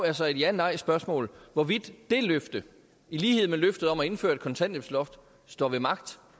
altså et ja nej spørgsmål hvorvidt det løfte i lighed med løftet om at indføre et kontanthjælpsloft står ved magt